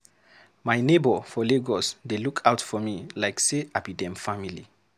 My neighbor for Lagos dey look out for me like say I be dem family.